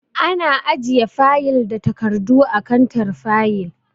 Ana ajiye fayil da takardu a kantar fayil.